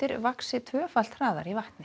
vaxa tvöfalt hraðar í vatni